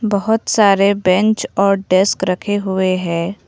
बहोत सारे बेंच और डेस्क रखे हुए हैं।